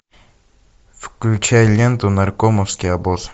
включай ленту наркомовский обоз